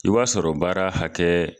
I b'a sɔrɔ baara hakɛɛ